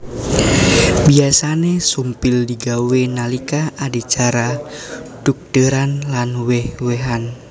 Biyasané sumpil digawé nalika adicara dhugdéran lan wéh wéhan